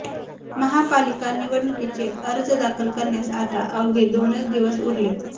महापालिका निवडणुकीचे अर्ज दाखल करण्यास आता अवघे दोनच दिवस उरलेत